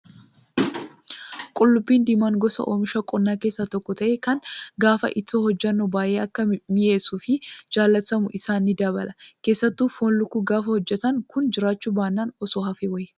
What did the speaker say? Qullubbiin diimaa gosa oomisha qonnaa keessaa tokko ta'ee kan gaafa ittoo hojjannu baay'ee akka mi'eessuu fi jaallatamummaa isaa ni dabala. Keessattuu foon lukkuu gaafa hojjatan kun jiraachuu baannaan osoo hafee wayya.